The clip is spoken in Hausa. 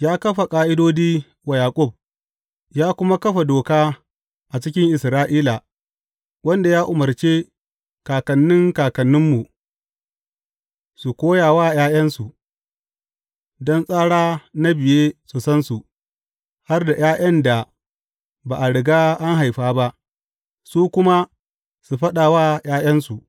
Ya kafa ƙa’idodi wa Yaƙub ya kuma kafa doka a cikin Isra’ila, wadda ya umarce kakanni kakanninmu su koya wa ’ya’yansu, don tsara na biye su san su, har da ’ya’yan da ba a riga an haifa ba, su kuma su faɗa wa ’ya’yansu.